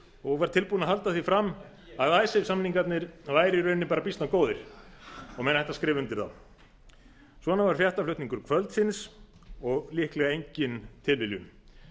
og var tilbúinn að halda því fram að icesave samningarnir væru í rauninni býsna góðir og menn ættu að skrifa undir þá svona var fréttaflutningur kvöldsins og líklega engin tilviljun